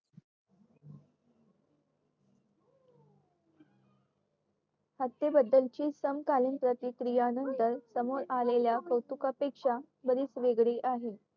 हत्तेनान्तारची समकालीन प्रतिक्रियेनंतर समोर आलेल्या कौतुकापेक्षा बरीच वेगळी आहे